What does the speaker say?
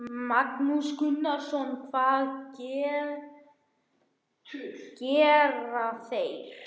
Magnús Gunnarsson: Hvað gera þeir?